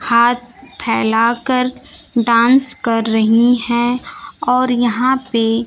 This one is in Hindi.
हाथ फैला कर डांस कर रही हैं और यहां पे--